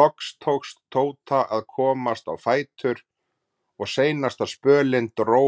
Loks tókst Tóta að komast á fætur og seinasta spölinn dró